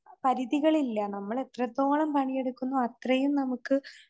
പരിധികളില്ല. നമ്മൾ എത്രത്തോളം പണിയെടുക്കുന്നു അത്രയും നമുക്ക്